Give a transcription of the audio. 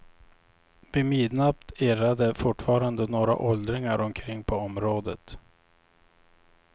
Vid midnatt irrade fortfarande några åldringar omkring på området.